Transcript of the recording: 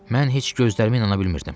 Mən heç gözlərimə inana bilmirdim.